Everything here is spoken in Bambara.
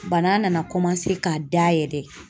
Bana nana ka dayɛlɛ